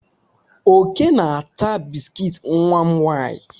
Oke na-ata biskit nwa m nwaanyị.